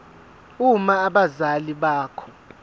uma abazali bakho